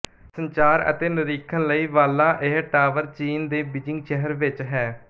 ਸੰਚਾਰ ਅਤੇ ਨਿਰੀਖਣ ਲਈ ਵਾਲਾਂ ਇਹ ਟਾਵਰ ਚੀਨ ਦੇ ਬੀਜਿੰਗ ਸ਼ਹਿਰ ਵਿੱਚ ਹੈ